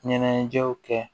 Ɲɛnajɛw kɛ